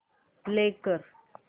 play कर